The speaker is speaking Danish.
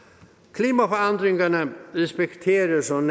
klimaforandringerne respekterer som